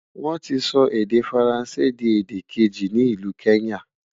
wón tí sọ èdè faransé di èdè keji ní ìlu kenya